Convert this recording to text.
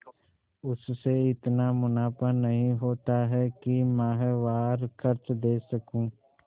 उससे इतना मुनाफा नहीं होता है कि माहवार खर्च दे सकूँ